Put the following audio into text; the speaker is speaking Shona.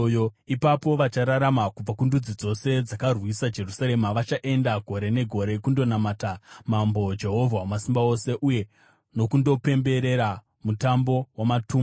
Ipapo vachararama kubva kundudzi dzose dzakarwisa Jerusarema vachaenda gore negore kundonamata Mambo, Jehovha Wamasimba Ose, uye nokundopemberera Mutambo waMatumba.